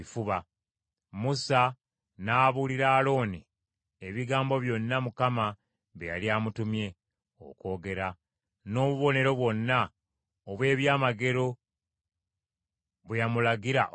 Musa n’abuulira Alooni ebigambo byonna Mukama bye yali amutumye okwogera, n’obubonero bwonna obw’ebyamagero bwe yamulagira okukola.